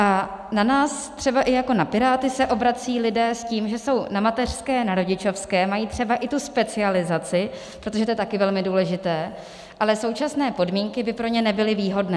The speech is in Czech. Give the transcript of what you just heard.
A na nás třeba i jako na Piráty se obracejí lidé s tím, že jsou na mateřské, na rodičovské, mají třeba i tu specializaci, protože to je taky velmi důležité, ale současné podmínky by pro ně nebyly výhodné.